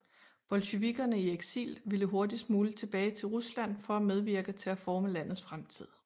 Bolsjevikerne i eksil ville hurtigst muligt tilbage til Rusland for at medvirke til at forme landets fremtid